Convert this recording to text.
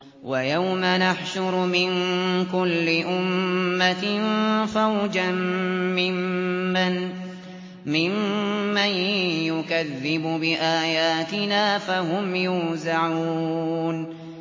وَيَوْمَ نَحْشُرُ مِن كُلِّ أُمَّةٍ فَوْجًا مِّمَّن يُكَذِّبُ بِآيَاتِنَا فَهُمْ يُوزَعُونَ